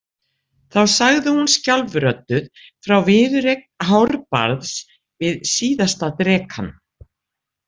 Þá sagði hún skjálfrödduð frá viðureign Hárbarðs við síðasta drekann.